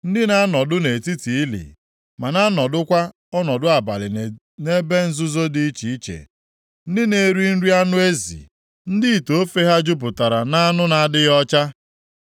ndị na-anọdụ nʼetiti ili, ma na-anọdụkwa ọnọdụ abalị nʼebe nzuzo dị iche iche; ndị na-eri anụ ezi, ndị ite ofe ha jupụtara nʼanụ na-adịghị ọcha;